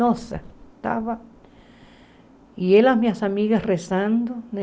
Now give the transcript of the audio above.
Nossa, estava... E ela e as minhas amigas rezando, né?